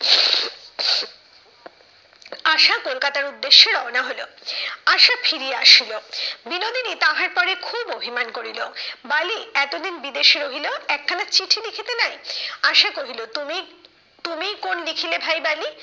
আশা কলকাতার উদ্দেশ্যে রওনা হলো। আশা ফিরিয়া আসিল। বিনোদিনী তাহার পরে খুব অভিমান করিল, বালি এতদিন বিদেশ রহিল একখানা চিঠি লিখিতে নাই। আসা কহিল, তুমি তুমিই কোন লিখিলে ভাই বালি?